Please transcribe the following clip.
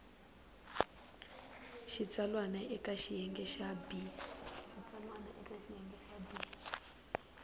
xitsalwana eka xiyenge xa b